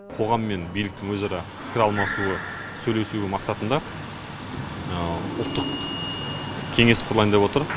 қоғам мен биліктің өзара пікір алмасуы сөйлесуі мақсатында ұлттық кеңес құрылайын деп отыр